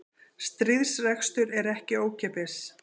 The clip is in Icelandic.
Stríðsrekstur er ekki ókeypis